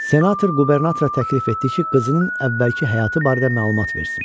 Senator qubernatora təklif etdi ki, qızının əvvəlki həyatı barədə məlumat versin.